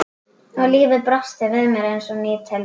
Og lífið brosti við mér eins og ný tilvera.